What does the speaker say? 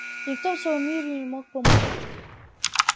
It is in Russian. и никто в целом мире не мог помочь